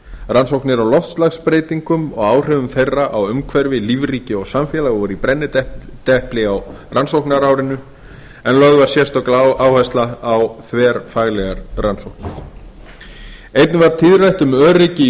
rannsóknir á loftslagsbreytingum og áhrifum þeirra á umhverfi lífríki og samfélag voru í brennidepli á rannsóknarárinu en lögð var sérstök áhersla á þverfaglegar rannsóknir einnig var tíðrætt um öryggi í